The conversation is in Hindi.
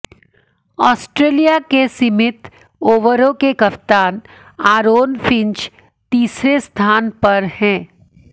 आस्ट्रेलिया के सीमित ओवरों के कप्तान आरोन फिंच तीसरे स्थान पर हैं